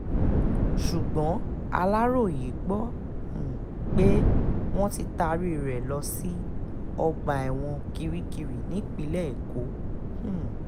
ṣùgbọ́n aláròye gbọ́ um pé wọ́n ti taari rẹ̀ lọ sí ọgbà ẹ̀wọ̀n kirikiri nípínlẹ̀ èkó um